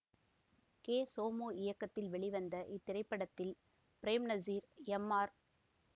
K Somu இயக்கத்தில் வெளிவந்த இத்திரைப்படத்தில் பிரேம்நசீர் எம் ஆர்